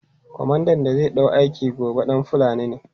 Komandan da zai ɗau aiki gobe ɗan Fulani ne.